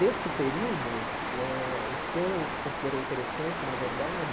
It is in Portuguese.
Desse período, o que eh o que eu considerei interessante, na verdade,